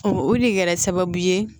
O o de kɛra sababu ye